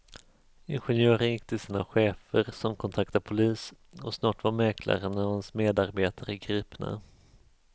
Ingenjören gick till sina chefer som kontaktade polis och snart var mäklaren och hans medarbetare gripna.